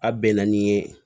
A bɛnna ni ye